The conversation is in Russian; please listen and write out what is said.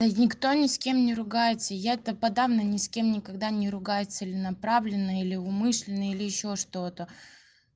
никто ни с кем не ругается я то подавно ни с кем никогда не ругаюсь целенаправленно или умышленно или ещё что-то